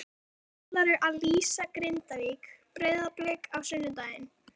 Svo ætlarðu að lýsa Grindavík- Breiðablik á sunnudaginn?